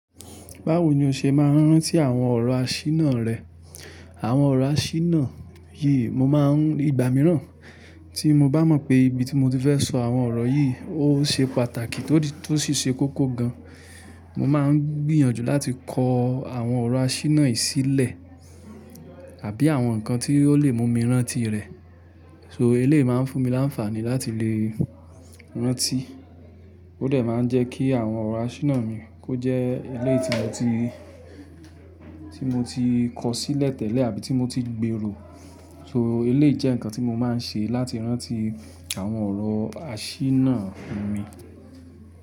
Báwo ni o ṣe máa ń rántí àwọn ọ̀rọ̀ àṣínáà rẹ? Àwọn ọ̀rọ̀ àṣíná, yii mo máa ń ìgbà mìíràn tí mo bá mọ̀ pé ibi tí mo ti fẹ́ sọ àwọn ọ̀rọ̀ yìí ó ṣe pàtàkì tótì tó sì ṣe kókó gan. Mo máa ń gbìyànjú láti kọ àwọn ọ̀rọ̀ àṣírí náà sílẹ̀ àbí àwọn nǹkan tí ó lè mú mi rántí rẹ̀. So eléyi máa ń fún mi láǹfààní láti lè rántí. Ó dẹ̀ máa ń jẹ́ kí àwọn ọ̀rọ̀ àṣíná mi kó jẹ́ eléyi tí mo ti, tí mo ti kọ sílẹ̀ tẹ́lẹ̀ àbí tí mo ti gbèrò. So elé jẹ́ nǹkan tí mo máa ń ṣe láti rántí àwọn ọ̀rọ̀ àṣírí náà mi.